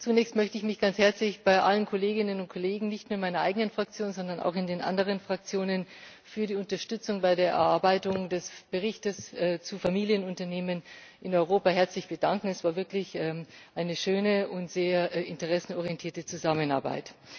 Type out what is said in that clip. Zunächst möchte ich mich ganz herzlich bei allen Kolleginnen und Kollegen nicht nur in meiner eigenen Fraktion, sondern auch in den anderen Fraktionen für die Unterstützung bei der Erarbeitung des Berichts zu Familienunternehmen in Europa herzlich bedanken. Es war wirklich eine schöne und sehr interessenorientierte Zusammenarbeit.